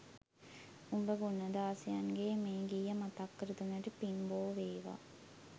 උඹ ගුණදාසයන්ගේ මේ ගීය මතක් කර දුන්නට පින් බෝ වේවා